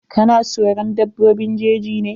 Ka na soron dabbobin jeji ne?